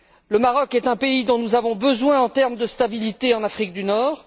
Le Maroc est un pays dont nous avons besoin en termes de stabilité en Afrique du Nord.